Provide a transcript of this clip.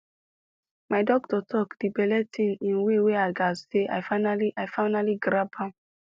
my doctor talk the belle thing in way wey i gatz say i finally i finally grab am